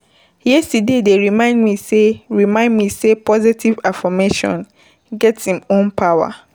Yesterday dey remind me sey remind me sey positive affirmation get im own power.